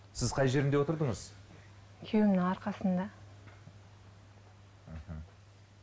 сіз қай жерінде отырдыңыз күйеуімнің арқасында мхм